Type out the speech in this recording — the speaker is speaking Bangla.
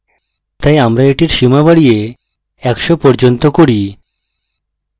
তাই আমরা এটির সীমা বাড়িয়ে ১০০ পর্যন্ত করি